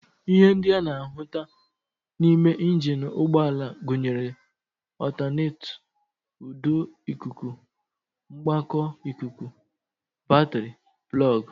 Ihe ndị a na-ahụta n'ime njini ụgbọala gụnyere ọltanetọ, ụdọ ikuku, mgbakọ ikuku, batịrị, plọg